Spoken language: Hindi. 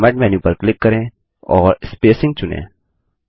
फॉर्मेट मेन्यू पर क्लिक करें और स्पेसिंग चुनें